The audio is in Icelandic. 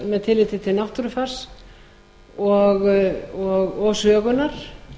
með tilliti til náttúrufars og sögunnar